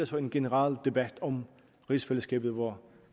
så en generel debat om rigsfællesskabet hvor